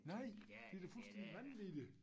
Nej det da fuldstændig vanvittigt